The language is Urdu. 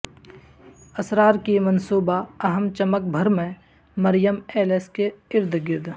اسرار کی منصوبہ اہم چمک بھر میں مریم ایلس کے ارد گرد